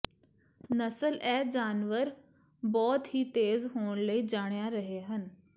ਨਸਲ ਇਹ ਜਾਨਵਰ ਬਹੁਤ ਹੀ ਤੇਜ਼ ਹੋਣ ਲਈ ਜਾਣਿਆ ਰਹੇ ਹਨ